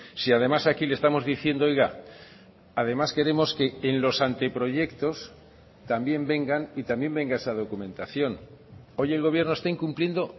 si además aquí le estamos diciendo oiga además queremos que en los anteproyectos también vengan y también venga esa documentación hoy el gobierno está incumpliendo